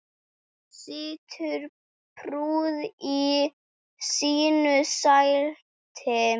Situr prúð í sínu sæti.